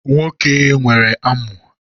Nwoke nwere amu.